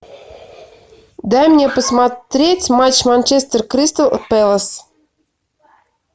дай мне посмотреть матч манчестер кристал пэлас